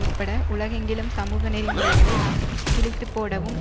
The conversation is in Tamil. உட்பட உலகெங்கிலும் சமூக நெறிமுறைகளைக் கிழித்துப்போடவும்